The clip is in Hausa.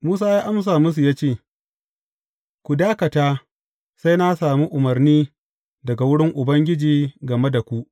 Musa ya amsa musu ya ce, Ku dakata sai na sami umarni daga wurin Ubangiji game da ku.